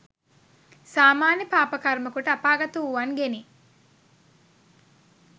සාමාන්‍ය පාපකර්ම කොට අපාගත වූවන්ගෙනි.